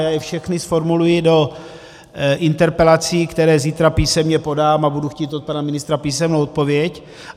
Já je všechny zformuluji do interpelací, které zítra písemně podám, a budu chtít od pana ministra písemnou odpověď.